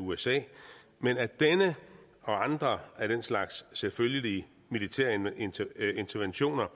usa men at denne og andre af den slags selvfølgelige militære interventioner